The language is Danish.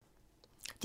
DR2